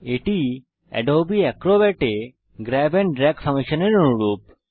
এটি Adobe Acrobat এ grab and drag ফাংশনের অনুরূপ